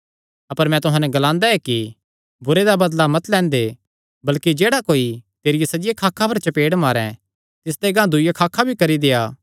अपर मैं तुहां नैं एह़ ग्लांदा ऐ कि बुरे दा बदला मत लैंदे अपर जेह्ड़ा कोई तेरिया सज्जिया खाखा पर चपेड़ मारे तिसदे गांह दूईआ खाखा भी करी देआ